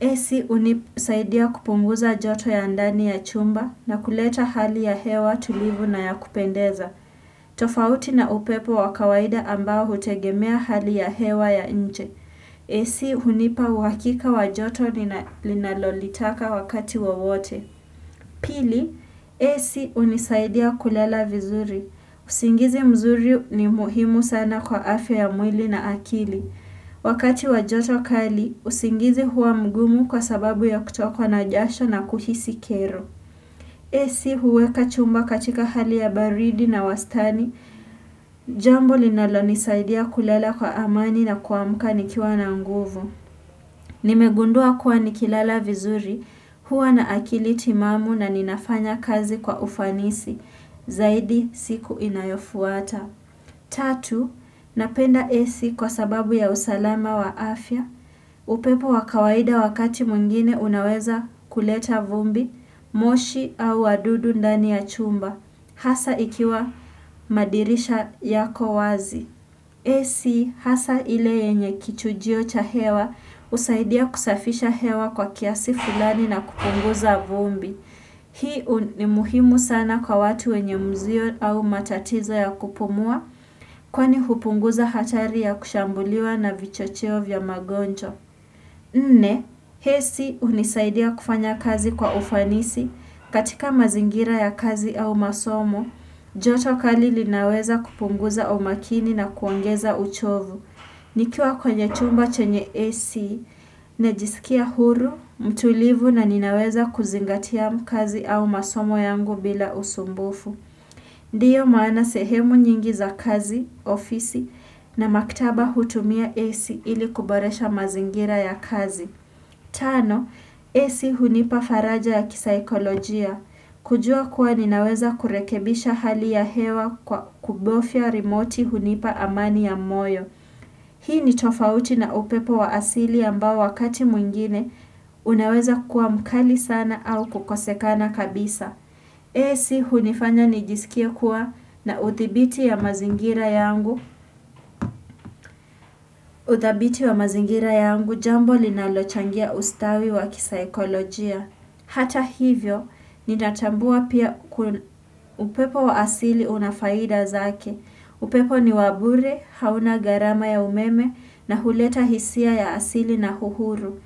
AC unisaidia kupunguza joto ya ndani ya chumba na kuleta hali ya hewa tulivu na ya kupendeza. Tofauti na upepo wakawaida ambao hutegemea hali ya hewa ya nje. AC unipa uhakika wajoto ninalolitaka wakati wowote. Pili, AC unisaidia kulela vizuri. Usingizi mzuri ni muhimu sana kwa afya ya mwili na akili. Wakati wajoto kali, usingizi huwa mgumu kwa sababu ya kutokwa na jasho na kuhisi kero. AC huweka chumba katika hali ya baridi na wastani. Jambo linalo nisaidia kulela kwa amani na kuamkani kiwa na nguvu. Nimegundua kuwa nikilala vizuri huwa na akili timamu na ninafanya kazi kwa ufanisi. Zaidi siku inayofuata. Tatu, napenda AC kwa sababu ya usalama wa afya, upepo wakawaida wakati mwingine unaweza kuleta vumbi, moshi au wadudu ndani ya chumba, hasa ikiwa madirisha yako wazi. Ac hasa ile yenye kichujio cha hewa usaidia kusafisha hewa kwa kiasi fulani na kupunguza vumbi. Hii ni muhimu sana kwa watu wenye mzio au matatizo ya kupumua kwani hupunguza hatari ya kushambuliwa na vichocheo vya magonjwa. Nne, AC unisaidia kufanya kazi kwa ufanisi katika mazingira ya kazi au masomo, joto kali linaweza kupunguza umakini na kuongeza uchovu. Nikiwa kwenye chumba chenye AC, najisikia huru, mtulivu na ninaweza kuzingatia kazi au masomo yangu bila usumbufu. Ndiyo maana sehemu nyingi za kazi, ofisi na maktaba hutumia AC ili kuboresha mazingira ya kazi. Tano, AC hunipa faraja ya kisaikolojia. Kujua kuwa ninaweza kurekebisha hali ya hewa kubofia remote hunipa amani ya moyo. Hii ni tofauti na upepo wa asili ambao wakati mwingine unaweza kuwa mkali sana au kukosekana kabisa. AC hunifanya nijisikie kuwa na uthibiti ya mazingira yangu, uthabiti ya mazingira yangu jambo linalochangia ustawi wa kisa ekolojia. Hata hivyo, ninatambua pia upepo wa asili unafaida zake. Upepo ni wabure, hauna garama ya umeme na huleta hisia ya asili na huhuru.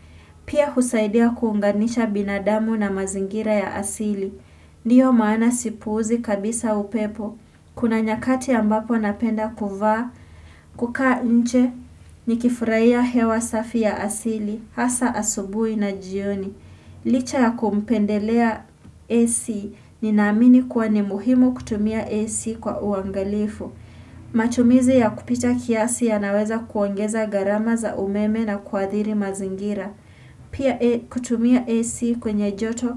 Pia husaidia kuunganisha binadamu na mazingira ya asili. Ndiyo maana sipuuzi kabisa upepo. Kuna nyakati ambapo napenda kuvaa, kukaa nche, nikifuraiya hewa safi ya asili, hasa asubui na jioni. Licha ya kumpendelea AC ni naamini kuwa ni muhimu kutumia AC kwa uangalifu. Matumizi ya kupita kiasi ya naweza kuongeza garama za umeme na kuadhiri mazingira. Pia kutumia AC kwenye joto,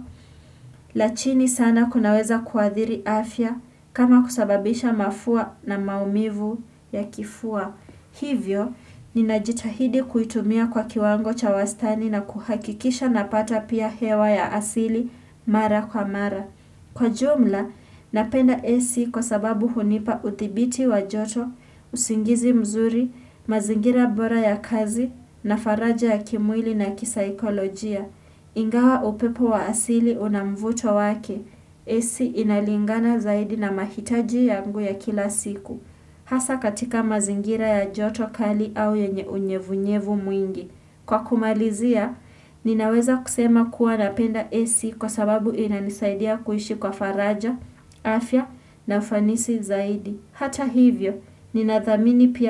la chini sana kunaweza kuadhiri afya kama kusababisha mafua na maumivu ya kifua. Hivyo, ninajitahidi kuitumia kwa kiwango cha wastani na kuhakikisha na pata pia hewa ya asili mara kwa mara. Kwa jumla, napenda AC kwa sababu hunipa uthibiti wa joto, usingizi mzuri, mazingira bora ya kazi, na faraja ya kimwili na kisaikolojia. Ingawa upepo wa asili unamvuto wake, AC inalingana zaidi na mahitaji yangu ya kila siku. Hasa katika mazingira ya joto kali au yenye unyevu nyevu mwingi. Kwa kumalizia, ninaweza kusema kuwa napenda AC kwa sababu inanisaidia kuishi kwa faraja, afya na fanisi zaidi. Hata hivyo, ninathamini pia.